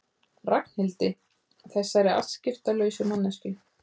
Ragnhildi, þessari afskiptalausu manneskju.